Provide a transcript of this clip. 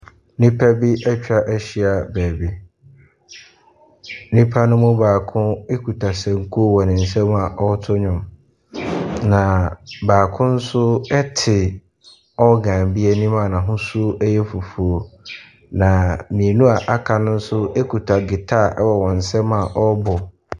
Nnipa bi atwa ahyia baabi. Nnipa mno mu baako ekuta senkuo wɔ ne nsam a ɔreto nnwom na baako nso te ɔgan bi anim a n'ahosuo yɛ fufuo. Na mmienu a aka no nso kuta gyitaa wɔ wɔn nsam a wɔrebɔ.